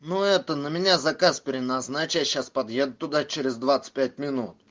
ну это на меня заказ переназначить я сейчас подъеду туда через двадцать пять минут